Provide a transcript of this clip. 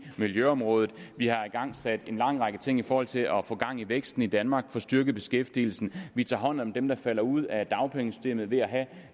miljøområdet vi har igangsat en lang række ting i forhold til at få gang i væksten i danmark få styrket beskæftigelsen vi tager hånd om dem der falder ud af dagpengesystemet ved at have